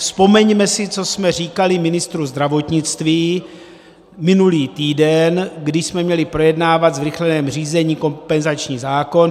Vzpomeňme si, co jsme říkali ministru zdravotnictví minulý týden, kdy jsme měli projednávat ve zrychleném řízení kompenzační zákon.